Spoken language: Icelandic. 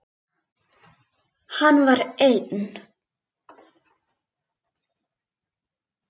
Hann var einn.